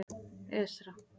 Esra